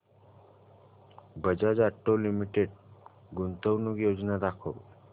Bajaj auto limited गुंतवणूक योजना दाखव